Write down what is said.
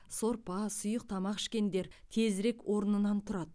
сорпа сұйық тамақ ішкендер тезірек орнынан тұрады